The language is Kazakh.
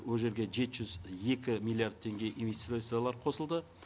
ол жерге жеті жүз екі миллиард теңге инвестициялар қосылды